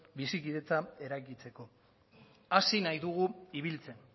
bizikidetza eraikitzeko hasi nahi dugu ibiltzen